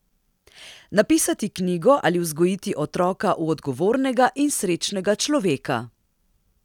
Napisati knjigo ali vzgojiti otroka v odgovornega in srečnega človeka?